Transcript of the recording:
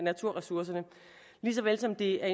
interesseret i at